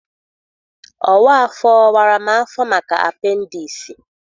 Ọwa afọ wara m afọ maka apendiisi.